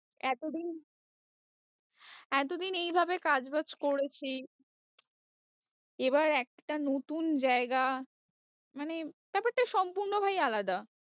এতদিন এতদিন এইভাবে কাজ ওয়াজ করেছি এবার একটা নতুন জায়গা মানে ব্যাপারটা সম্পূর্ণ ভাই আলাদা